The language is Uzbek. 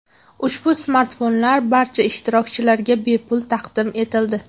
Ushbu smartfonlar barcha ishtirokchilarga bepul taqdim etildi.